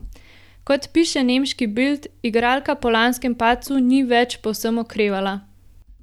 Kot piše nemški Bild, igralka po lanskem padcu ni več povsem okrevala.